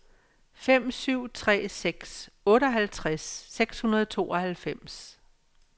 fem syv tre seks otteoghalvtreds seks hundrede og tooghalvfems